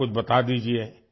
کچھ بتایئے